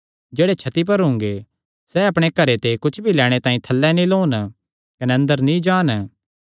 कने जेह्ड़े छत्ती पर हुंगे सैह़ अपणे घरे ते कुच्छ भी लैणे तांई थल्लै नीं लौन कने अंदर नीं जान